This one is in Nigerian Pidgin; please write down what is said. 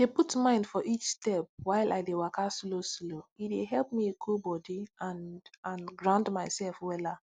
dey put mind for each step while i dey waka slow slow e dey help me cool body and and ground myself wella